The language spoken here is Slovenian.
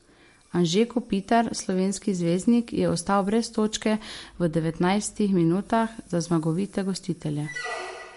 Anže Kopitar, slovenski zvezdnik, je ostal brez točke v devetnajstih minutah za zmagovite gostitelje.